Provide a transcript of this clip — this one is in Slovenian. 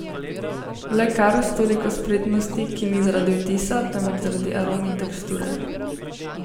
Le kar, s toliko spretnosti, ki ni zaradi vtisa, temveč zaradi arom in teksture!